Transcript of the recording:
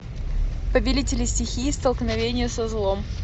повелители стихии столкновение со злом